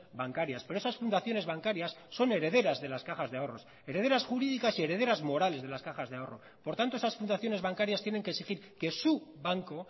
bancarias pero esas fundaciones bancarias son herederas de las cajas de ahorros herederas jurídicas y herederas morales de las cajas de ahorro por tanto esas fundaciones bancarias tienen que exigir que su banco